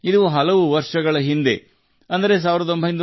ಇದು ಹಲವು ವರ್ಷಗಳ ಹಿಂದೆ 1975 ರಲ್ಲಿ ಸಂಭವಿಸಿತು